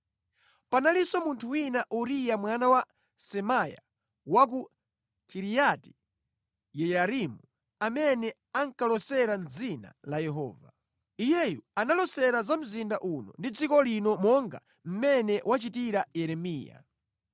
(Panalinso munthu wina, Uriya mwana wa Semaya wa ku Kiriati-Yeyarimu, amene ankalosera mʼdzina la Yehova. Iyeyu analosera za mzinda uno ndi dziko lino monga mmene wachitira Yeremiya.